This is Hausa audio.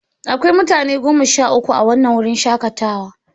Akwai mutane goma sha uku a wannan wurin shakatawa.